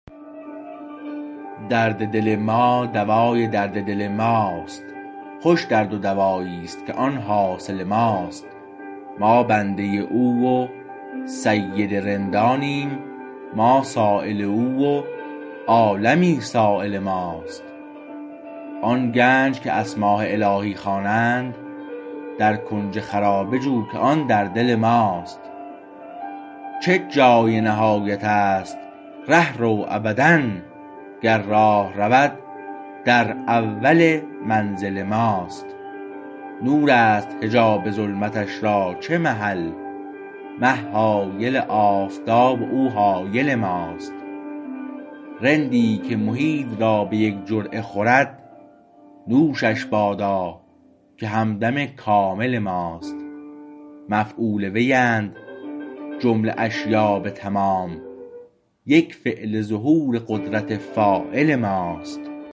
درد دل ما دوای درد دل ماست خوش درد و دواییست که آن حاصل ماست ما بنده او و سید رندانیم ما سایل او و عالمی سایل ماست آن گنج که اسمای الهی خوانند در کنج خرابه جو که آن در دل ماست چه جای نهایت است ره رو ابدا گر راه رود در اول منزل ماست نور است حجاب ظلمتش را چه محل مه حایل آفتاب و او حایل ماست رندی که محیط را به یک جرعه خورد نوشش بادا که همدم کامل ماست مفعول ویند جمله اشیا به تمام یک فعل ظهور قدرت فاعل ماست